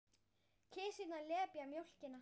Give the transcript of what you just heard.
Kisurnar lepja mjólkina.